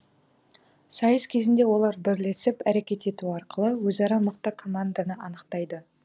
сайыс кезінде олар бірлесіп әрекет ету арқылы өзара мықты команданы анықтайды